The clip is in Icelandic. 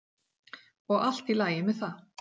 Og allt í lagi með það.